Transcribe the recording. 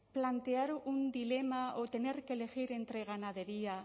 plantear un dilema o tener que elegir entre ganadería